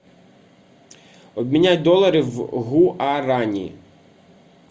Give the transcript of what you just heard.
обменять доллары в гуарани